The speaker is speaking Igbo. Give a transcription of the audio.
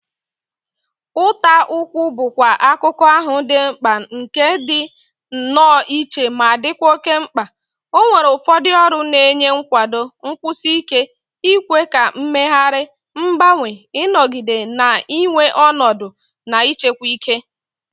Ụta ụkwụ bụkwa akụkụ ahụ dị mkpa nke dị nnọọ iche ma dịkwa oke mkpa, ọ nwere ụfọdụ ọrụ na-enye nkwado, nkwụsi ike, ikwe ka mmegharị, mgbanwe, ịnọgide na-enwe ọnọdụ, na ịchekwa ike.